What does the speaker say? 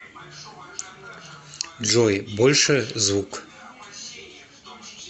джой больше звук